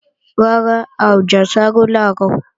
Rárá, a ò jẹ àsáró làárọ̀